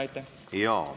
Aitäh!